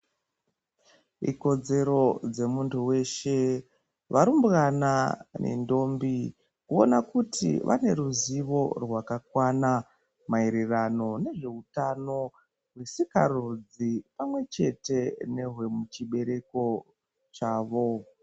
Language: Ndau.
Ikodzero dzemuntu weshe, varumbwana nendombi, kuona kuti vane ruzivo rwakakwana maererano nezvehutano hwesikarudzi, pamwechete nehwemuchibereko chavo.